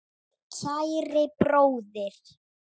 Kæri bróðir.